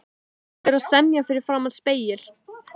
Þú ættir að semja fyrir framan spegil.